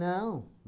Não.